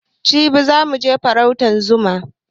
Jibi za muje farautan zuma